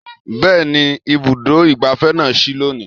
Bẹ́ẹ̀ni, Ibùdó ìgbáfẹ́ na sí lónìí